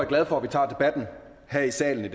glad for at vi tager debatten her i salen i